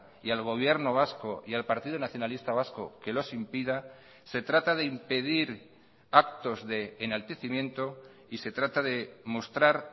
y al gobierno vasco y al partido nacionalista vasco que los impida se trata de impedir actos de enaltecimiento y se trata de mostrar